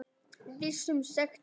Viss um sekt mína.